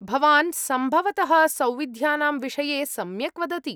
भवान् सम्भवतः सौविध्यानां विषये सम्यक् वदति।